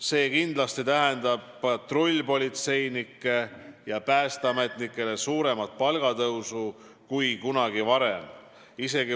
See tähendab patrullpolitseinikele ja päästeametnikele suuremat palgatõusu kui kunagi varem.